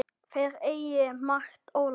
Þeir eigi margt ólært.